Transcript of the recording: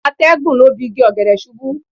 Atẹ́gùn lọ́ bi igi ọ̀gẹ̀dẹ̀ ṣubú.